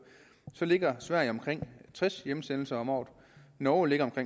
ligger sverige på omkring tres hjemsendelser om året og norge ligger på